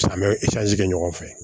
Samiya bɛ kɛ ɲɔgɔn fɛ